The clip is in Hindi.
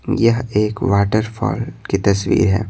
यह एक वाटरफॉल की तस्वीर है।